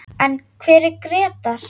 En hver er Grétar?